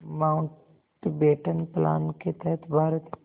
Mountbatten plan के तहत भारत